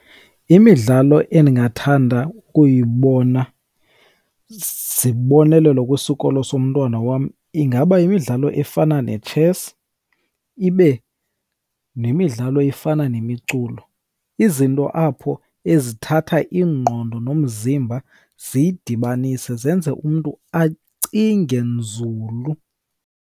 Imidlalo endingathanda ukuyibona zibonelelo kwisikolo somntwana wam ingaba yimidlalo efana netshesi ibe nemidlalo efana nemiculo. Izinto apho ezithatha ingqondo nomzimba ziyidibanise zenze umntu acinge nzulu.